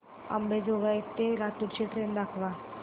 अंबेजोगाई ते लातूर ची ट्रेन दाखवा